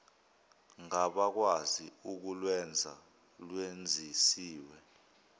ngabakwazi ukulwenza lwenzisiswe